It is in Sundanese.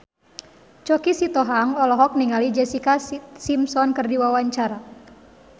Choky Sitohang olohok ningali Jessica Simpson keur diwawancara